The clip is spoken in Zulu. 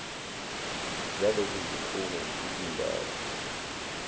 zalezo zikhungo izindawo